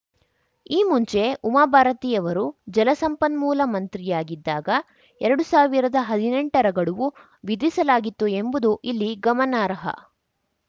ಈ ಮುಂಚೆ ಉಮಾ ಭಾರತಿ ಅವರು ಜಲಸಂಪನ್ಮೂಲ ಮಂತ್ರಿಯಾಗಿದ್ದಾಗ ಎರಡು ಸಾವಿರದ ಹದಿನೆಂಟರ ಗಡುವು ವಿಧಿಸಲಾಗಿತ್ತು ಎಂಬುದು ಇಲ್ಲಿ ಗಮನಾರ್ಹ